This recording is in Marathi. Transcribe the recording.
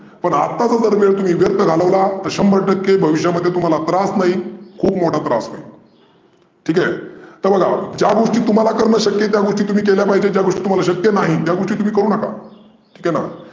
पण अत्ता जर तो वेळ तुम्ही व्यर्थ घालवला तर शंभर टक्के भविष्यामध्ये तुम्हाला त्रास नाही खुप मोठ्ठा त्रास होईल. ठिक आहे. तर बघा ज्या गोष्टी तुम्हाला करणं शक्य आहे त्या गोष्टी तुम्ही केल्या पाहीजे. ज्या गोष्टी तुम्हाला शक्य नाही त्या गोष्टी तुम्ही करू नका. केलं